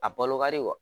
A balo ka di wa